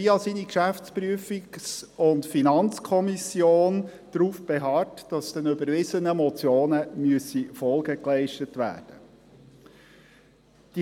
Via seine Geschäftsprüfungs- und Finanzkommission beharrte er darauf, dass den überwiesenen Motionen Folge geleistet werden müsse.